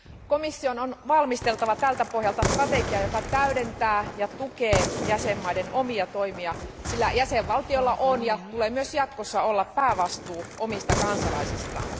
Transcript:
Komission on valmisteltava tältä pohjalta strategia, joka täydentää ja tukee jäsenvaltioiden omia toimia, sillä jäsenvaltioilla on ja tulee myös jatkossa olla päävastuu omista kansalaisistaan.